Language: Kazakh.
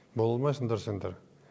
бола алмайсыңдар сендер